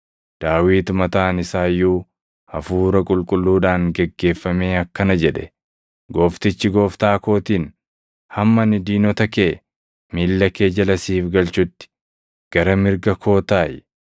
Daawit mataan isaa iyyuu Hafuura Qulqulluudhaan geggeeffamee akkana jedhe: “ ‘Gooftichi Gooftaa kootiin, “Hamma ani diinota kee, miilla kee jala siif galchutti, gara mirga koo taaʼi.” ’+ 12:36 \+xt Far 110:1\+xt*